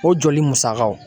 O joli musakaw